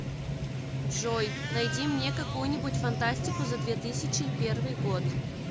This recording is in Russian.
джой найди мне какую нибудь фантастику за две тысячи первый год